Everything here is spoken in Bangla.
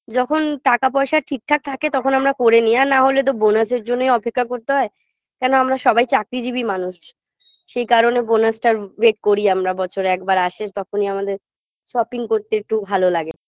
যখন টাকা পয়সা ঠিকঠাক থাকে তখন আমরা করে নি আর নাহলে তো bonus -এর জন্যই অপেক্ষা করতে হয় কেন আমরা সবাই চাকরিজীবী মানুষ সেই কারণে bonus -টার wait করি আমরা বছরে একবার আসে তখনই আমাদের shopping করতে একটু ভালো লাগে